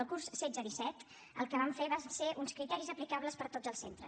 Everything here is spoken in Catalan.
el curs setze disset el que vam fer van ser uns criteris aplicables per a tots els centres